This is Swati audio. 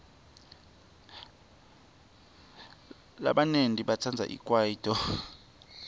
labanyenti batsandza ikwayito